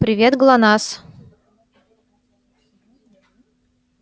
привет глонассс